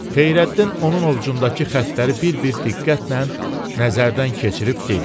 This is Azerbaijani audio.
Xeyrəddin onun ovcundakı xəttləri bir-bir diqqətlə nəzərdən keçirib dedi.